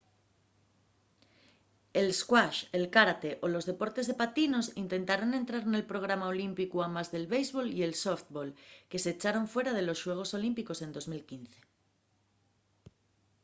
el squash el kárate o los deportes de patinos intentaron entrar nel programa olímpicu amás del béisbol y el sóftbol que s’echaron fuera de los xuegos olímpicos en 2005